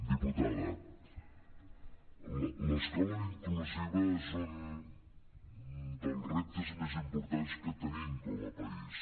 diputada l’escola inclusiva és un dels reptes més importants que tenim com a país